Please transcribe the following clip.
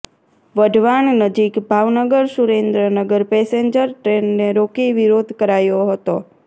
વઢવાણ નજીક ભાવનગર સુરેદ્રનગર પેસેન્જર ટ્રેનને રોકી વિરોધ કરાયો હતો